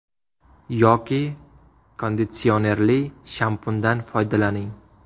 Yoki konditsionerli shampundan foydalaning.